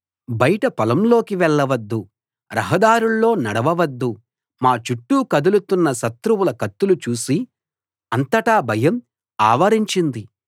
బయట పొలంలోకి వెళ్ళవద్దు రహదారుల్లో నడవవద్దు మా చుట్టూ కదులుతున్న శత్రువుల కత్తులు చూసి అంతటా భయం ఆవరించింది